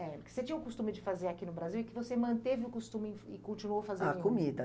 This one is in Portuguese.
É, o que você tinha o costume de fazer aqui no Brasil e que você manteve o costume e continuou fazendo em Roma. A comida.